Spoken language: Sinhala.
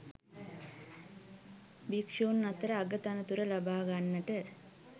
භික්‍ෂූන් අතර අග තනතුර ලබා ගන්නට